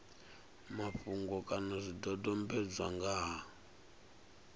mafhungo kana zwidodombedzwa nga ha